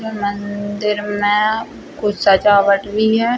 मंदिर में कुछ सजावट भी है।